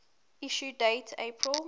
issue date april